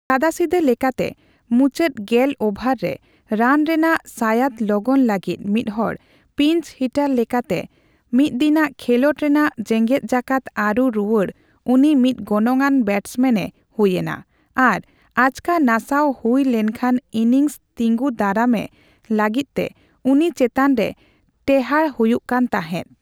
ᱥᱟᱫᱟᱥᱤᱫᱟᱹ ᱞᱮᱠᱟᱛᱮ ᱢᱩᱪᱟᱹᱫ ᱜᱮᱞ ᱳᱵᱷᱟᱨ ᱨᱮ ᱨᱟᱱ ᱨᱮᱱᱟᱜ ᱥᱟᱸᱭᱟᱫ ᱞᱚᱜᱚᱱ ᱞᱟᱹᱜᱤᱫ ᱢᱤᱫᱦᱚᱲ ᱯᱤᱧᱪᱼᱦᱤᱴᱟᱨ ᱞᱮᱠᱟᱛᱮ ᱢᱤᱫᱫᱤᱱᱟᱜ ᱠᱷᱮᱞᱚᱰ ᱨᱮᱱᱟᱜ ᱡᱮᱸᱜᱮᱛᱡᱟᱠᱟᱛ ᱟᱹᱨᱩ ᱨᱩᱣᱟᱹᱲᱨᱮ ᱩᱱᱤ ᱢᱤᱫ ᱜᱚᱱᱚᱝᱟᱱ ᱵᱮᱴᱥᱢᱮᱱ ᱮ ᱦᱩᱭᱮᱱᱟ ᱟᱨ ᱟᱪᱠᱟ ᱱᱟᱥᱟᱣ ᱦᱩᱭ ᱞᱮᱱᱠᱷᱟᱱ ᱤᱱᱤᱝᱥ ᱛᱤᱸᱜᱩ ᱫᱟᱨᱟᱢᱮ ᱞᱟᱹᱜᱤᱫᱛᱮ ᱩᱱᱤ ᱪᱮᱛᱟᱱᱨᱮ ᱴᱮᱦᱟᱬ ᱦᱩᱭᱩᱜ ᱠᱟᱱ ᱛᱟᱸᱦᱮᱫ ᱾